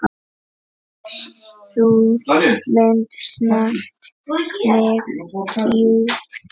Sú mynd snart mig djúpt.